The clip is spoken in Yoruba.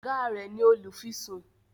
oga rẹ ní olufisun.